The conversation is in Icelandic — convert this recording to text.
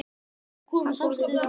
En þau koma samstundis til baka.